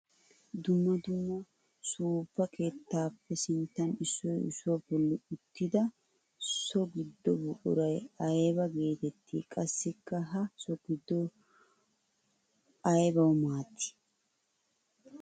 Dumma dumma suufa keettappe sinttan issoy issuwa bolla uttidda so gido buquray aybba geetetti? Qassikka ha so gido aybbawu maaddi?